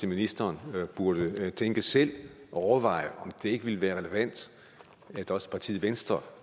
ministeren burde tænke selv og overveje om det ikke ville være relevant at også partiet venstre